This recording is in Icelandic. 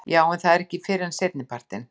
Jú en það er ekki fyrr en seinnipartinn.